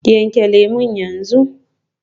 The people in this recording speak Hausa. Yanke lemu yanzu.